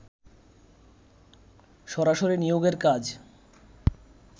সরাসরি নিয়োগের কাজ